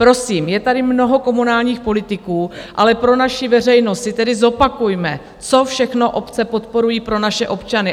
Prosím, je tady mnoho komunálních politiků, ale pro naši veřejnost si tedy zopakujme, co všechno obce podporují pro naše občany.